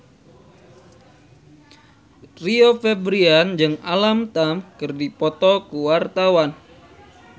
Rio Febrian jeung Alam Tam keur dipoto ku wartawan